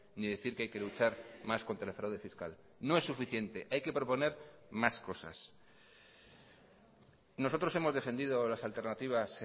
ni decir que hay que luchar más contra el fraude fiscal no es suficiente hay que proponer más cosas nosotros hemos defendido las alternativas